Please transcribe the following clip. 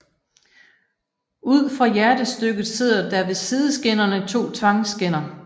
Ud for hjertestykket sidder der ved sideskinnerne to tvangskinner